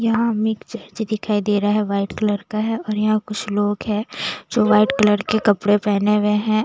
यहाँ हमें एक चर्च दिखाई दे रहा है वाइट कलर का है और यहाँ कुछ लोग है जो वाइट कलर के कपड़े पहने हुए हैं।